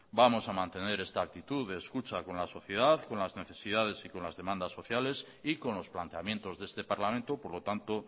vamos a mantener esta actitud de escucha con la sociedad con las necesidades y con las demandas sociales y con los planteamientos de este parlamento por lo tanto